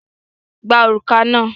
Gba òrùka náà!